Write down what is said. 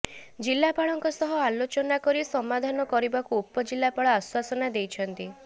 ଜିଲାପାଳଙ୍କ ସହ ଆଲୋଚନା କରି ସମାଧାନ କରିବାକୁ ଉପଜିଲାପାଳ ଆଶ୍ବାସନା ଦେଇଛନ୍ତି